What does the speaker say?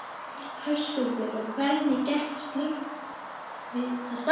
Höskuldur: Og hvernig gekk slökkvistarf?